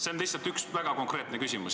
See on lihtsalt üks väga konkreetne küsimus.